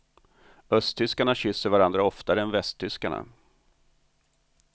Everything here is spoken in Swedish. Östtyskarna kysser varandra oftare än västtyskarna.